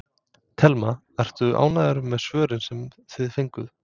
Telma: Ertu ánægður með svörin sem þið fenguð?